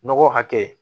Nɔgɔ hakɛ